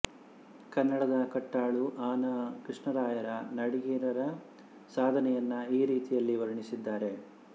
ಕನ್ನಡದ ಕಟ್ಟಾಳು ಅ ನ ಕೃಷ್ಣರಾಯರು ನಾಡಿಗೇರರ ಸಾಧನೆಯನ್ನು ಈ ರೀತಿಯಾಗಿ ವರ್ಣಿಸಿದ್ದಾರೆ